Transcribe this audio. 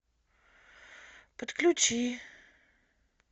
подключи